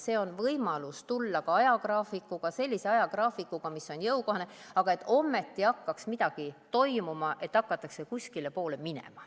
See on võimalus tulla ka ajagraafikuga, sellise ajagraafikuga, mis on jõukohane, aga ometi hakkaks midagi toimuma, et hakataks kuskilepoole minema.